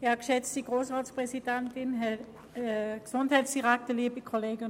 Als Mitmotionärin spricht Grossrätin Speiser.